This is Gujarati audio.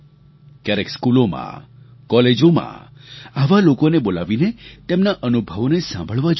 ક્યારેક સ્કૂલોમાં કોલેજોમાં આવા લોકોને બોલાવીને તેમના અનુભવોને સાંભળવા જોઈએ